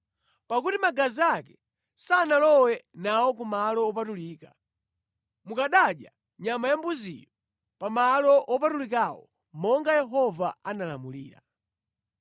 Pakuti magazi ake sanalowe nawo ku Malo Wopatulika, mukanadya nyama ya mbuziyo pa malo wopatulikawo monga Yehova analamulira.”